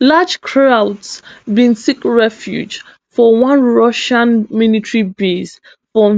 large crowds bin seek refuge for one russian military base for